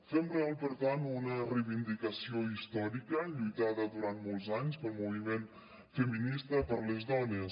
fem real per tant una reivindicació històrica lluitada durant molts anys pel moviment feminista per les dones